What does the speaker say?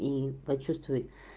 и почувствуй